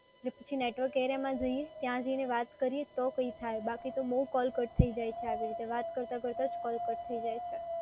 તો પછી નેટવર્ક એરિયામાં જઈએ, ત્યાં જઈને વાત કરીએ તો કંઈ થાય બાકી તો બઉ કૉલ કટ થઈ જાય છે આવી રીતે, વાત કરતાં કરતાં જ કૉલ કટ થઈ જાય છે.